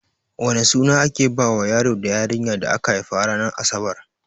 Wane suna ake bawa yaro da yarinya da aka haifa ranar asabar?